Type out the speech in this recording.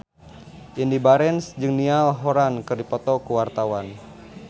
Indy Barens jeung Niall Horran keur dipoto ku wartawan